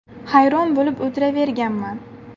Hayron bo‘lib o‘tiraverganman.